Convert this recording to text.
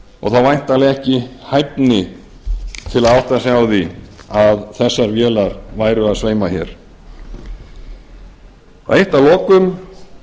og þá væntanlega ekki hæfni til að átta sig á því að þessar vélar væru að sveima hér eitt að lokum